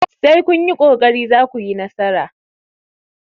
sai kun yi ƙoƙari za ku yi nasara!